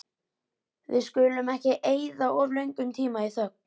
Við skulum ekki eyða of löngum tíma í þögn.